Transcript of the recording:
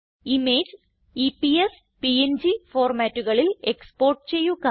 image EPS PNG ഫോർമാറ്റുകളിൽ export ചെയ്യുക